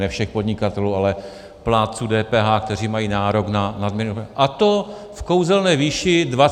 Ne všech podnikatelů, ale plátců DPH, kteří mají nárok na nadměrný..., a to v kouzelné výši 24 miliard.